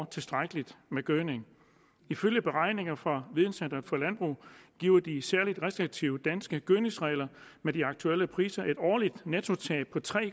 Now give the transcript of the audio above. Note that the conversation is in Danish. tilstrækkelig med gødning ifølge beregninger fra videncentret for landbrug giver de særligt restriktive danske gødningsregler med de aktuelle priser et årligt nettotab på tre